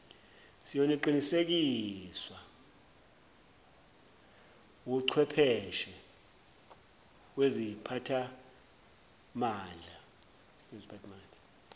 siyoqinisekiswa wuchwepheshe wesiphathimandla